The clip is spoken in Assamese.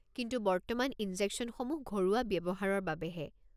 কিন্তু, বৰ্তমান ইনজেকশ্যনসমূহ ঘৰুৱা ব্যৱহাৰৰ বাবেহে।